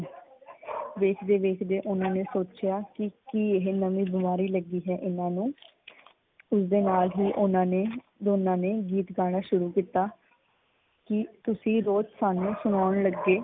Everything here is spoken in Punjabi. ਵੇਖਦੇ ਵੇਖਦੇ ਓਹਨਾਂ ਨੇ ਸੋਚਿਆ ਕੀ ਕੀ ਇਹ ਨਵੀਂ ਬਿਮਾਰੀ ਲੱਗੀ ਹੈ ਇਹਨਾਂ ਨੂੰ। ਉਸਦੇ ਨਾਲ ਹੀ ਓਹਨਾਂ ਨੇ ਦੋਨਾਂ ਨੇ ਗੀਤ ਗਾਉਣਾ ਸ਼ੁਰੂ ਕੀਤਾ ਕੀ ਤੁਸੀਂ ਸਾਨੂੰ ਰੋਜ਼ ਸਣਾਉਣ ਲੱਗੇ।